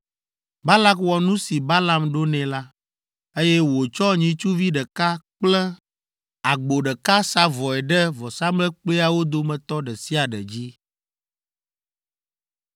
Balak wɔ nu si Balaam ɖo nɛ la, eye wòtsɔ nyitsuvi ɖeka kple agbo ɖeka sa vɔe ɖe vɔsamlekpuiawo dometɔ ɖe sia ɖe dzi.